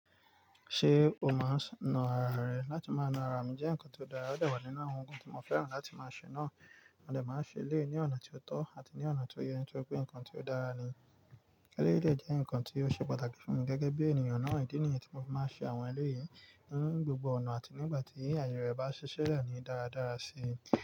Ṣé o máa ń nu ara rẹ? Látí máa nu ara mi jẹ́ nǹkan tó dára, ó dà wa nínú ohun kan tí mo fẹ́ràn láti máa ṣe náà, mo dè máa ṣe eléyi ní ọ̀nà tí ó tọ́ àti ní ọ̀nà tó yẹ nítori pé nǹkan tí ó dára ni. Éléyì jẹ́ nǹkan tí ó ṣe pàtàkì fún mi gẹ́gẹ́ bí ènìyàn náà, ìdí nìyí tí mo fi máa ṣe àwọn eléyè ní gbogbo ọ̀nà àti nígbà tí àyè rẹ̀ bá ṣiṣẹ́ lẹ́ ni dáradára sí i.